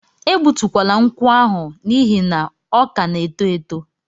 E gbutukwala nkwụ ahụ n'ihi na ọ ka na-eto eto!